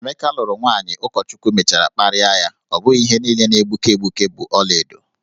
Emeka lụrụ nwaanyị ụkọchukwu mechara kparịa ya, ọ bụghị ihe niile na-egbuke egbuke bụ ọlaedo.